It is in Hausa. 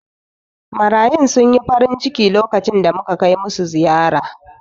Marayun sun yi farinciki lokacin da muka kai musu ziyara.